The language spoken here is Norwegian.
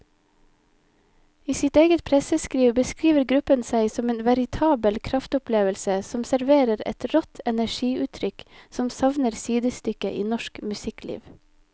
I sitt eget presseskriv beskriver gruppen seg som en veritabel kraftopplevelse som serverer et rått energiutrykk som savner sidestykke i norsk musikkliv.